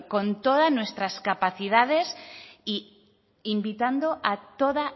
con todas nuestras capacidades e invitando a toda